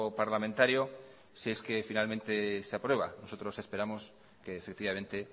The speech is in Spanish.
parlamentario si es que finalmente se aprueba nosotros esperamos que efectivamente